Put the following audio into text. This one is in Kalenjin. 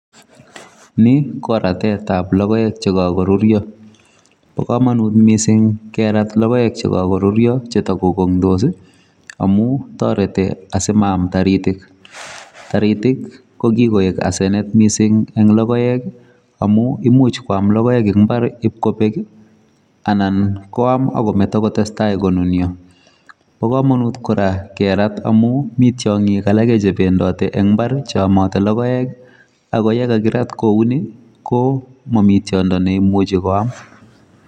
Ni ko ratetab logoek chekakorurio. Bo komunut mising kerat logoek chekakorurio ak chetakokong'dos amu toretei asimaam taritik. Taritik ko kikoek asenet mising eng logoek amu imuch koam logoek eng imbar ibkobek anan koam akometo kotestai konunio. Bo komonut kora kerat amu mi tiong'ik alake chebendoti eng imbar cheomote logoek ako yekakirat kouni ko mami tiondo neimuchi koam.